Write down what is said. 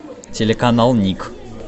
телеканал ник